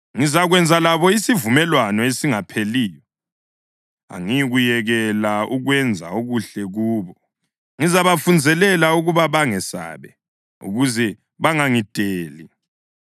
Ngizakwenza labo isivumelwano esingapheliyo: Angiyikuyekela ukwenza okuhle kubo, ngizabafunzelela ukuba bangesabe, ukuze bangangideli.